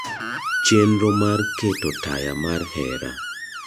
chenro mar keto taya mar hera